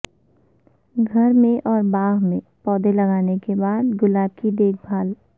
گھر میں اور باغ میں پودے لگانے کے بعد گلاب کی دیکھ بھال